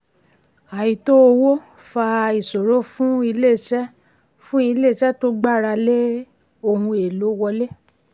àìtó owó fa ìṣòro fún iléeṣẹ́ fún iléeṣẹ́ tó gbára lé ohun èlò wọlé.